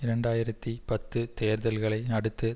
இரண்டு ஆயிரத்தி பத்து தேர்தல்களை அடுத்து